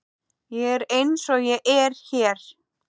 Ég er eins og ég er hér.